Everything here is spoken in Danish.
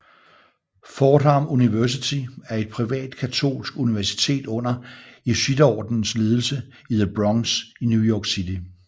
Fordham University er et privat katolsk universitet under jesuiterordenens ledelse i the Bronx i New York City